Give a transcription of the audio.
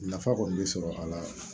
Nafa kɔni be sɔrɔ a la